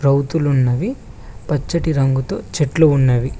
గోతులున్నవి పచ్చటి రంగుతో చెట్లు ఉన్నవి.